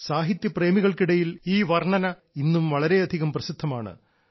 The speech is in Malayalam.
സാഹിത്യ പ്രേമികൾക്കിടയിൽ ഈ കവിത ഇന്നും വളരെയധികം പ്രസിദ്ധമാണ്